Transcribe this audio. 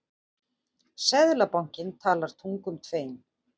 Seðlabankinn talar tungum tveim